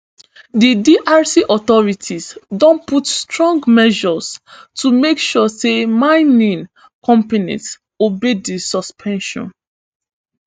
di drc authorities don put strong measures to make sure say mining companies obey di suspension